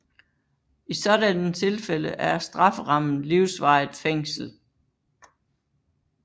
I sådanne tilfælde er strafferammen livsvarigt fængsel